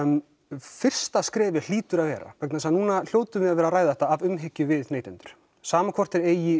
fyrsta skrefið hlýtur að vera vegna þess að nú hljótum við að vera að ræða þetta af umhyggju við neytendur sama hvort þeir eiga í